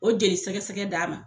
O jeli sɛgɛ sɛgɛ d'a ma.